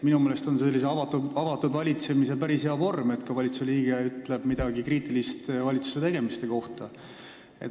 Minu meelest on avatud valitsemise päris hea vorm see, kui valitsusliige ütleb ka midagi kriitilist valitsuse tegemiste kohta.